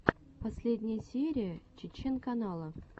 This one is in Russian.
последняя серия чечен канала